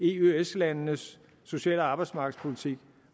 i eøs landenes social og arbejdsmarkedspolitik